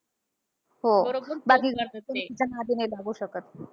हो. बाकीचे कोणी तिच्या नादी नाही लागू शकत.